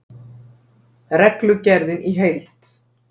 Reglugerðin í heild